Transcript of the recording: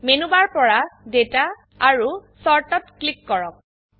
menu bar পৰা data আৰু chart ত ক্লিক কৰক